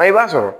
I b'a sɔrɔ